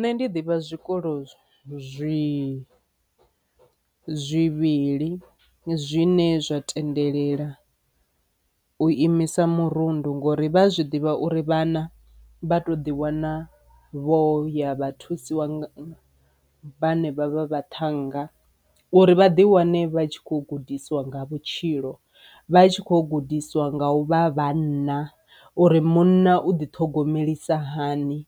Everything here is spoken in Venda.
Nṋe ndi ḓivha zwikolo zwi zwivhili zwine zwa tendelela u imisa murundu ngori vha zwi ḓivha uri vhana vha to ḓiwana vho ya vha thusiwa vhanevha vha vhaṱhanga uri vha ḓi wane vha tshi kho gudisiwa nga vhutshilo, vha tshi khou gudisiwa nga u vha vhanna uri munna u ḓi ṱhogomelisa hani,